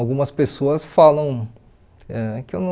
Algumas pessoas falam ãh que eu não...